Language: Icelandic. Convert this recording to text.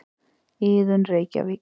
Iðunn, Reykjavík.